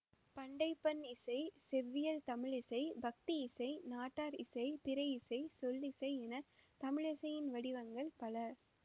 பண்டைப் பண் இசை செவ்வியல் தமிழ் இசை பக்தி இசை நாட்டார் இசை திரையிசை சொல்லிசை என தமிழிசையின் வடிவங்கள் பல